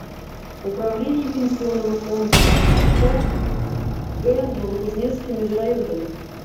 управление пенсионного фонда рф в г новокузнецке межрайонное